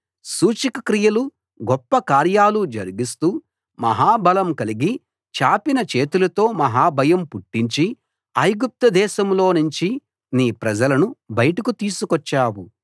సూచక క్రియలు గొప్ప కార్యాలు జరిగిస్తూ మహా బలం కలిగి చాపిన చేతులతో మహాభయం పుట్టించి ఐగుప్తు దేశంలోనుంచి నీ ప్రజలను బయటకు తీసుకొచ్చావు